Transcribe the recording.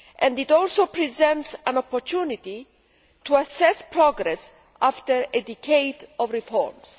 It also presents an opportunity to assess progress after a decade of reports.